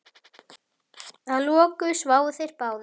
Að lokum sváfu þeir báðir.